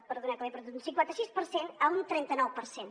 perdoneu que m’he perdut d’un cinquanta sis per cent a un trenta nou per cent